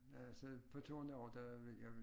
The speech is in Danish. Ja så på turen derovre der vil jeg vil